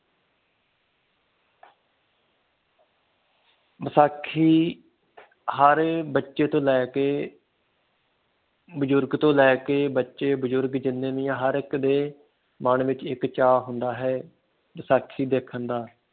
ਵਿਸਾਖੀ ਹਰ ਬੱਚੇ ਤੋਂ ਲੈ ਕੇ ਬਜੁਰਗ ਤੋਂ ਲੈ ਕੇ ਬਜੁਰਗ ਤੋਂ ਲੈ ਕੇ ਬੱਚੇ ਬਜੁਰਗ ਜਿੰਨੇ ਵੀ ਆ ਹਰ ਇਕ ਦੇ ਮਨ ਵਿਚ ਇਕ ਚਾ ਹੁੰਦਾ ਹੈ ਵਿਸਾਖੀ ਦੇਖਣ ਦਾ।